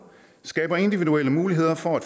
skaber individuelle muligheder for at